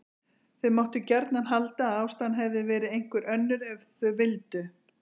Þau máttu gjarnan halda að ástæðan hefði verið einhver önnur ef þau vildu.